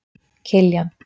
Kiljan